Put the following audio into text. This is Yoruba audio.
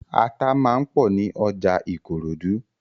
Ata máa ń pọ̀ ní ọjà Ìkòròdú.